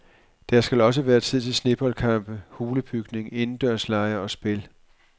Der skal også være tid til sneboldkampe, hulebygning, indendørslege og spil.